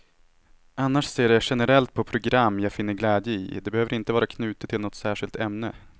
Annars ser jag generellt på program jag finner glädje i, det behöver inte vara knutet till något särskilt ämne.